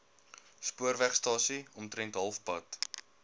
spoorwegstasie omtrent halfpad